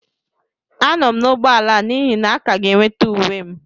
Anọ m n'ụgbọala n'ihi na a ka ga-enweta uwe m.